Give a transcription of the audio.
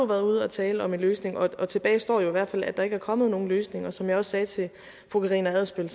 været ude og tale om en løsning og tilbage står jo i hvert fald at der ikke er kommet nogen løsninger som jeg også sagde til fru karina adsbøl